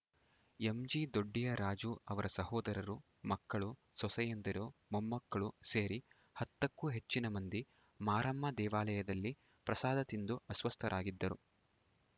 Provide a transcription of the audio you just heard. ಎಂಜಿದೊಡ್ಡಿಯ ರಾಜು ಅವರ ಸಹೋದರರು ಮಕ್ಕಳು ಸೊಸೆಯಂದಿರು ಮೊಮ್ಮಕ್ಕಳು ಸೇರಿ ಹತ್ತಕ್ಕೂ ಹೆಚ್ಚಿನ ಮಂದಿ ಮಾರಮ್ಮ ದೇವಾಲಯದಲ್ಲಿ ಪ್ರಸಾದ ತಿಂದು ಅಸ್ವಸ್ಥರಾಗಿದ್ದರು